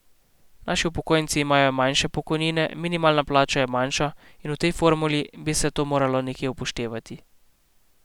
Naši upokojenci imajo manjše pokojnine, minimalna plača je manjša in v tej formuli bi se to moralo nekje upoštevati.